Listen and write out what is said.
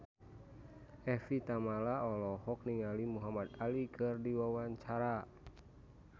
Evie Tamala olohok ningali Muhamad Ali keur diwawancara